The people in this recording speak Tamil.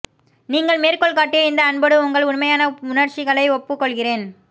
நீங்கள் மேற்கோள் காட்டிய இந்த அன்போடு உங்கள் உண்மையான உணர்ச்சிகளை ஒப்புக்கொள்கிறேன்